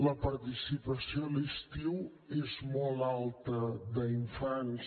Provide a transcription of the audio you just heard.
la participació a l’estiu és molt alta d’infants